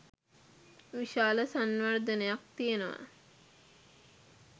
විශාල සංවර්ධනයක් තියෙනවා